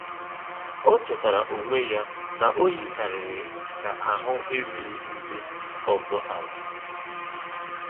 O chétàara onwé ya na o yìkàrị̀rị́ kà àhụ́ èrùghị́ ndí ọ́zọ́ àla.